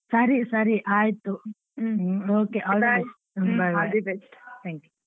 ಸರಿ ಸರಿ ಆಯ್ತು okay . thank you .